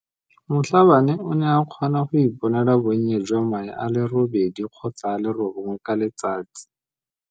Mhlabane o ne a kgona go iponela bonnye jwa mae a le robedi kgotsa a le robongwe ka letsatsi.